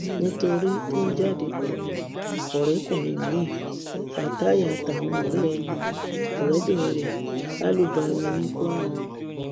ìfarahàn ẹṣọ aláàbò pọ sí i lẹyìn ìṣàfihàn ọsẹ tó kọjá tó fa àwọn ìdènà súnkẹrẹfàkẹrẹ